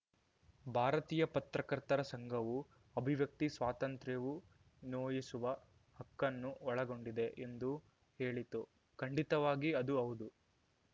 ಭಾರತೀಯ ಪತ್ರಕರ್ತರ ಸಂಘವು ಅಭಿವ್ಯಕ್ತಿ ಸ್ವಾತಂತ್ರ್ಯವು ನೋಯಿಸುವ ಹಕ್ಕನ್ನೂ ಒಳಗೊಂಡಿದೆ ಎಂದು ಹೇಳಿತು ಖಂಡಿತವಾಗಿ ಅದು ಹೌದು